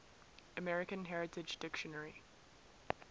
american heritage dictionary